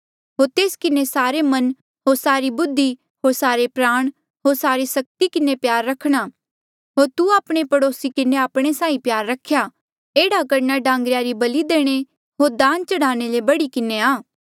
होर तेस किन्हें सारे मन होर सारी बुद्धि होर सारे प्राण होर सारी सक्ति किन्हें प्यार रखणा होर तू आपणे पड़ोसी किन्हें आपणे साहीं प्यार रख्या एह्ड़ा करना डांगरेया री बलि देणे होर दान चढ़ाणे ले बढ़ी किन्हें आ